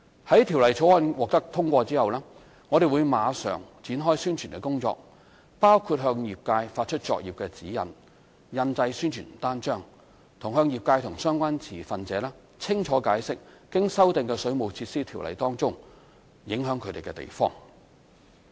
在《條例草案》獲得通過後，我們會馬上展開宣傳工作，包括向業界發出作業指引、印製宣傳單張，以及向業界和相關持份者清楚解釋經修訂的《條例》中影響他們的地方。